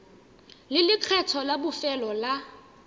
le lekgetho la bofelo la